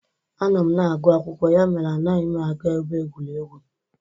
Anọ m na-agụ akwụkwọ, ya mere anaghị m aga ebe egwuregwu